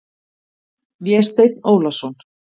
Vésteinn Ólason.